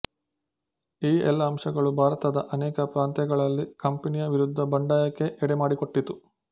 ಈ ಎಲ್ಲ ಅಂಶಗಳೂ ಭಾರತದ ಅನೇಕ ಪ್ರಾಂತ್ಯಗಳಲ್ಲಿ ಕಂಪನಿಯ ವಿರುದ್ಧ ಬಂಡಾಯಕ್ಕೆ ಎಡೆ ಮಾಡಿಕೊಟ್ಟಿತು